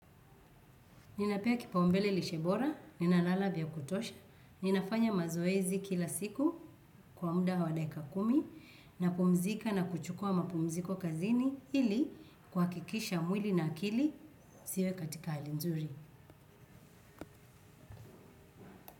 Ninapea kipaumbele lishe bora, ninalala vya kutosha, ninafanya mazoezi kila siku kwa muda wa dakika kumi napumzika na kuchukua mapumziko kazini ili kuhakikisha mwili na akili ziwe katika hali nzuri.